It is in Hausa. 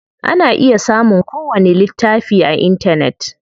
Ana iya samun ko wani littafi a intanet.